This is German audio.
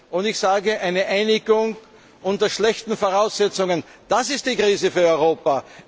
Und ich sage, eine Einigung unter schlechten Voraussetzungen, das ist die Krise für Europa!